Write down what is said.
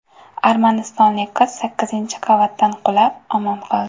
Armanistonlik qiz sakkizinchi qavatdan qulab, omon qoldi.